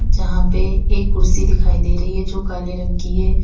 जहां पे एक कुर्सी दिखाई दे रही है जो काले रंग की है।